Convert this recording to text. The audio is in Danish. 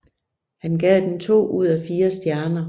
Han gav den to ud af fire stjerner